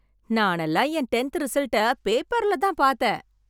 நானல்லாம் என் டென்த் ரிசல்ட்டை பேப்பர்ல தான் பார்த்தேன்.